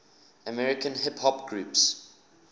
american hip hop groups